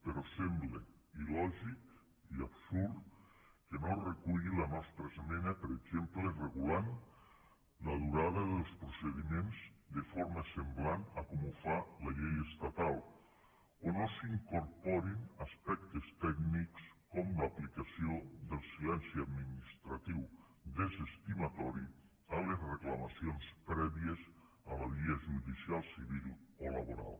però sembla il·lògic i absurd que no es reculli la nostra esmena per exemple que regula la durada dels procediments de forma semblant a com ho fa la llei estatal o que no s’incorporin aspectes tècnics com l’aplicació del silenci administratiu desestimatori a les reclamacions prèvies a la via judicial civil o laboral